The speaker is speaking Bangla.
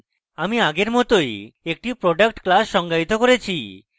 আমি আগের মতই একটি product class সঙ্গায়িত করেছি